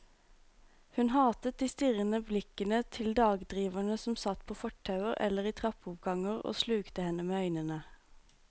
Hun hatet de strirrende blikkende til dagdriverne som satt på fortauer eller i trappeoppganger og slukte henne med øynene.